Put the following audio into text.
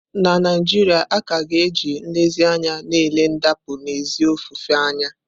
Na Naijiria, a ka ga-eji nlezianya na-ele ndapụ n'ezi ofufe anya.